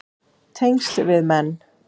Tengsl við menn